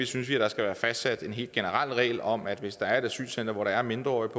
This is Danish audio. synes vi der skal være fastsat en helt generel regel om at hvis der er et asylcenter hvor der er mindreårige